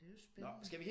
Det er jo spændende